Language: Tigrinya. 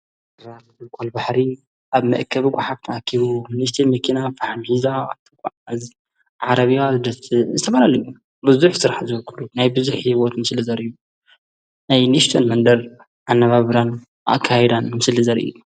ራም ኳ ል ባሕሪ ኣብ መእከ ብዎ ሓብቲኣኪቡ ኒሽቲ ምኪና ፍሓምኂዛ ኣተዓ እዝ ዓረብያ ዝደቲ ዝተበረለዩ ብዙኅ ሥራሕ ዘወኩሉ ናይ ብዙኅ ሕይወት ምስለ ዘርዩ ናይ ኒሽቶን መንደር ኣነባብራን ኣካይዳን ምስል ዘርኢ እዩ።